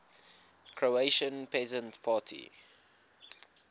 croatian peasant party